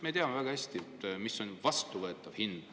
Me teame väga hästi, mis on suurtootjatele vastuvõetav hind.